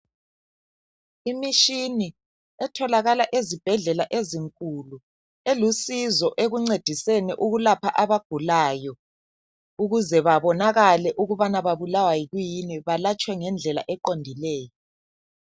Imitshini etholakala ezibhedlela ezinkulu elusizo ekuncediseni ukulapha abagulayo ukuze bebonakale ukubana babulawa yikwiyini ukuze balatshwe ngendlela eqondileyo